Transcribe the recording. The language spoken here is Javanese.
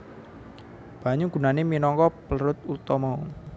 Banyu gunane minangka pelrut utama